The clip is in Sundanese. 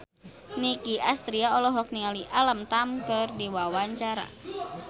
Nicky Astria olohok ningali Alam Tam keur diwawancara